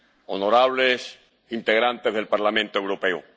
honorables integrantes del Parlamento Europeo.